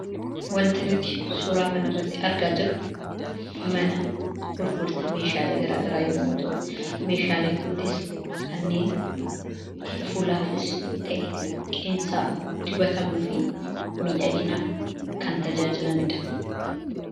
Waanti nuti suura kana irraa argaa jirru, mana gurgurtaa Meeshaalee garaagaraa yemmuu ta'u, meeshaaleen kunis kanneen fuulaafis ta'ee qeensa dibatamuu fi miidhaginaaf kan tajaajilanidha.